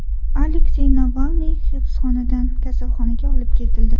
Aleksey Navalniy hibsxonadan kasalxonaga olib ketildi.